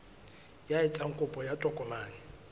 ya etsang kopo ya tokomane